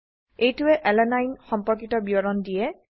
এইটোৱে আলানিনে সম্পৰ্কিত বিৱৰণ দিয়ে